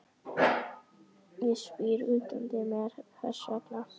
Ég spyr útundan mér hvers vegna